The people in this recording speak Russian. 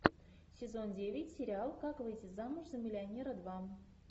сезон девять сериал как выйти замуж за миллионера два